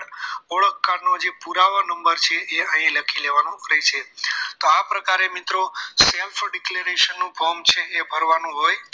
ઓળખ કાર્ડનો પુરાવા નંબર છે એ અહીં લખી લેવાનો રહેશે તો આ પ્રકારે મિત્રો self for declaration નો form છે એ ભરવાનું હોય છે